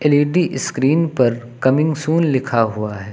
L E D screen पर coming soon लिखा हुआ है।